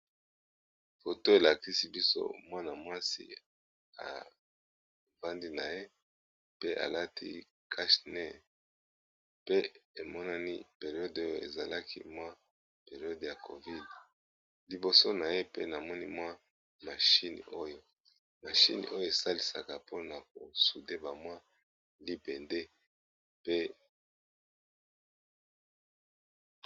Foto elakisi biso mwana mwasi afandi na ye, pe alati cash nez pe emonani periode oyo ezalaki mwa periode ya covid, liboso na ye pe namoni mwa mashine oyo mashine oyo esalisaka mpona ko soudé ba mwa libende pe.